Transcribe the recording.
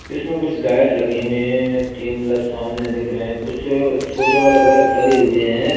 इसमें कुछ लाइट लगी हुई है तीन ब्लब सामने दिख रहे हैं कुछ छोटे वाले बल्ब लगे हुए हैं।